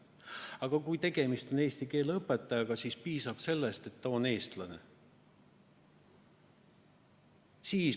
Aga kui tegemist on eesti keele õpetajaga, siis piisab sellest, et ta on eestlane.